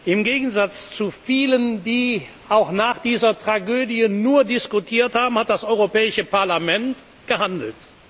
zu gewährleisten. Im Gegensatz zu vielen, die auch nach dieser Tragödie nur diskutiert haben, hat das Europäische Parlament